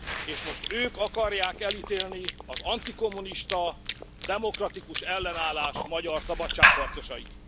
És most ők akarják elítélni az antikommunista, demokratikus ellenállás magyar szabadságharcosait.